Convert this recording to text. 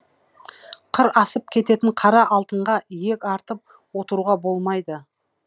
қыр асып кететін қара алтынға иек артып отыруға болмайды